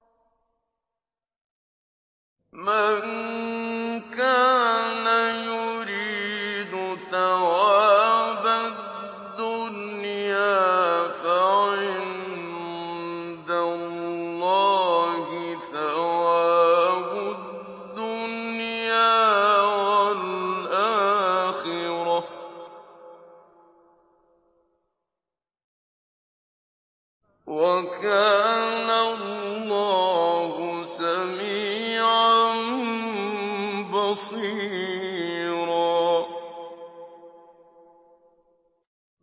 مَّن كَانَ يُرِيدُ ثَوَابَ الدُّنْيَا فَعِندَ اللَّهِ ثَوَابُ الدُّنْيَا وَالْآخِرَةِ ۚ وَكَانَ اللَّهُ سَمِيعًا بَصِيرًا